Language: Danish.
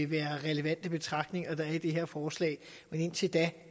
være relevante betragtninger der er i det her forslag men indtil da